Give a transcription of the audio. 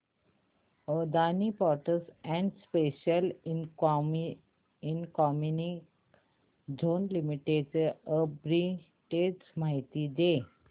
Adani ports and special economic zone limited arbitrage माहिती दे